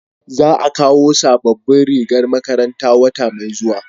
za a kawo sabobbin rigar makaranta wata mai zuwa